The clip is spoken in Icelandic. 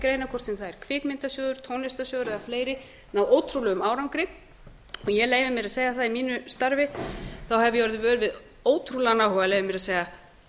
greina hvort sem það er kvikmyndasjóður tónlistarsjóður eða fleiri með ótrúlegum árangri og ég leyfi mér að segja að í mínu starfi hafi ég orðið vör við ótrúlegan áhuga leyfi ég mér að segja